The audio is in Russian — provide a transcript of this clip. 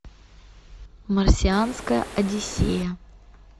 марсианская одиссея